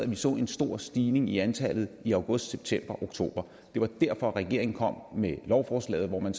at vi så en stor stigning i antallet i august september og oktober det var derfor regeringen kom med lovforslaget hvor man